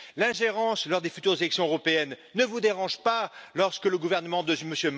L'ingérence lors des futures élections européennes ne vous dérange pas, lorsque le gouvernement de M.